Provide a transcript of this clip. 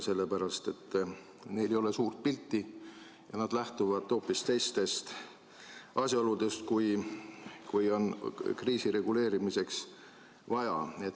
Sellepärast et inimestel ei ole suurt pilti ja nad lähtuvad hoopis teistest asjaoludest, kui on kriisi reguleerimiseks vaja.